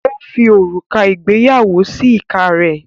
ó fi òrùka ìgbéyàwó sí ìka rẹ̀.